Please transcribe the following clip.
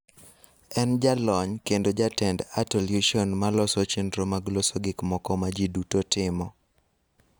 En jalony kendo jatend Artolution ma loso chenro mag loso gik moko ma ji duto timo.